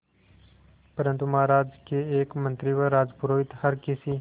परंतु महाराज के एक मंत्री व राजपुरोहित हर किसी